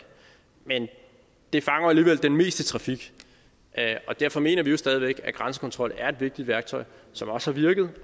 men det fanger jo alligevel den meste trafik og derfor mener vi stadig væk at grænsekontrol er et vigtigt værktøj som også har virket